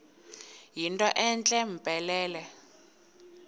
yinto entle mpelele